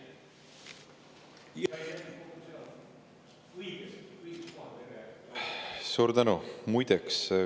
Suur tänu!